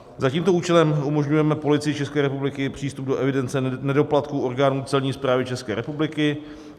Za tímto účelem umožňujeme Policii České republiky přístup do evidence nedoplatků orgánů Celní správy České republiky.